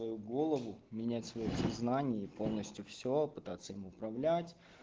э голову менять своё признание полностью все пытаться им управлять